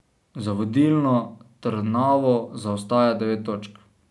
Za vodilno Trnavo zaostaja devet točk.